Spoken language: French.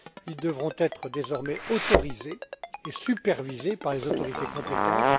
Ils devront être désormais autorisés et supervisés par les autorités compétentes.